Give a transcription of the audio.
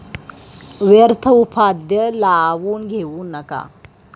व्यर्थ उपाध्या लावून घेऊ नको ।